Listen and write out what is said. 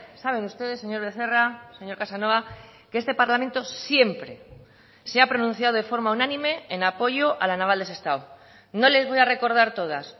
saben ustedes señor becerra señor casanova que este parlamento siempre se ha pronunciado de forma unánime en apoyo a la naval de sestao no les voy a recordar todas